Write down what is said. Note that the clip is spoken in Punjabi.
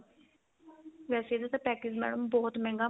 ਵੈਸੇ ਇਹਦਾ ਤਾਂ package madam ਬਹੁਤ ਮਹਿੰਗਾ